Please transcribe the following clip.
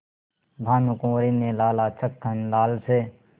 भानकुँवरि ने लाला छक्कन लाल से